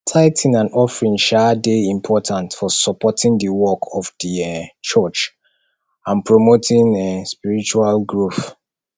tithing and offering um dey important for supporting di work of di um church and promoting um spiritual growth